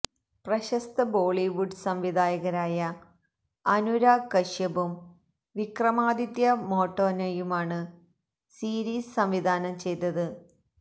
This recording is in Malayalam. പ്രശസ്ത ബോളിവുഡ് സംവിധായകരായ അനുരാഗ് കശ്യപും വിക്രമാദിത്യ മോട്ട്വാനെയുമാണ് സീരിസ് സംവിധാനം ചെയ്തത്